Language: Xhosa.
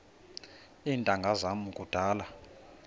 iintanga zam kudala